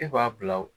E b'a bila o